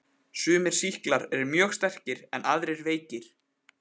Sumir sýklar eru mjög sterkir en aðrir veikir.